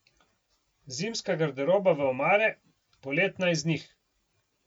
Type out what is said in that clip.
Zimska garderoba v omare, poletna iz njih.